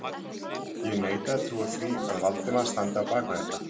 Ég neita að trúa því, að Valdimar standi á bak við þetta